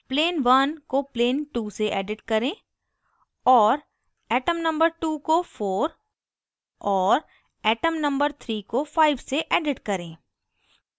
plane1 को plane2 से edit करें और atomno2 को 4 और atomno3 को 5 से edit करें